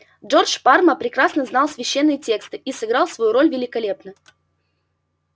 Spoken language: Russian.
джордж парма прекрасно знал священные тексты и сыграл свою роль великолепно